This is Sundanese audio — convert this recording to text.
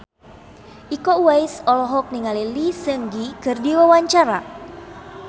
Iko Uwais olohok ningali Lee Seung Gi keur diwawancara